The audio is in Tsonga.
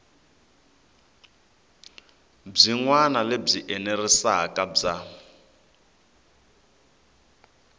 byin wana lebyi enerisaku bya